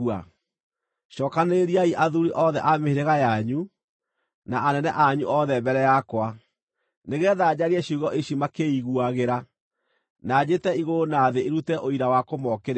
Cookanĩrĩriai athuuri othe a mĩhĩrĩga yanyu, na anene anyu othe mbere yakwa, nĩgeetha njarie ciugo ici makĩĩiguagĩra, na njĩte igũrũ na thĩ irute ũira wa kũmookĩrĩra.